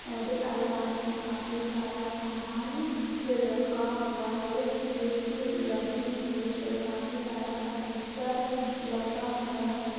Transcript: अरे अलवार में काफी सारा समान रखा हुआ है। ए.सी. लगी हुई है काफी सारा फर्नीचर लगा हुआ है।